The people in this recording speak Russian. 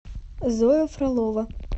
зоя фролова